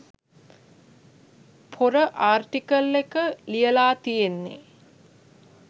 පොර ආර්ටිකල් එක ලියලා තියෙන්නේ.